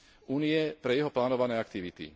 Únie pre jeho plánované aktivity.